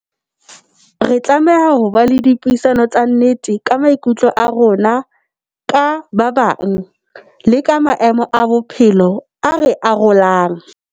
Re tlameha ho ba le dipuisano tsa nnete ka maikutlo a rona ka ba bang, le ka maemo a bophelo a re arolang.